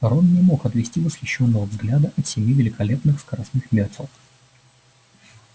рон не мог отвести восхищённого взгляда от семи великолепных скоростных мётел